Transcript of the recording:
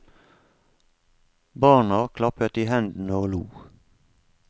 Barna klappet i hendene og lo.